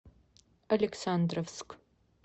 александровск